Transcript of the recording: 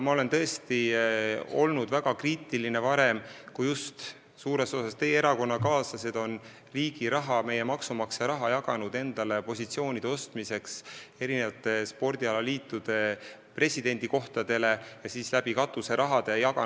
Ma olen tõesti olnud varem väga kriitiline, kui just suures osas teie erakonnakaaslased on jaganud riigi raha, meie maksumaksjate raha, et osta endale mõne spordialaliidu presidendi koht ja on teinud seda katuseraha abil.